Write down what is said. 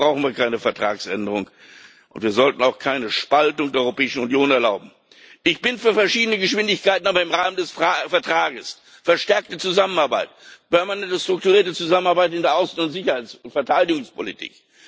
Dafür brauchen wir keine Vertragsänderung. Wir sollten auch keine Spaltung der Europäischen Union erlauben. Ich bin für verschiedene Geschwindigkeiten, aber im Rahmen des Vertrages verstärkte Zusammenarbeit, permanente strukturierte Zusammenarbeit in der Außen Sicherheits und Verteidigungspolitik.